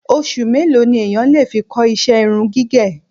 Oṣù mélòó ni èèyàn lè fi kọ́ ìṣe irun gígẹ̀?